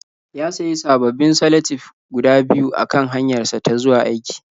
Ya sayi sababbin salatif guda biyu a kan hanyarsa ta zuwa aiki.